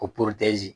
Ko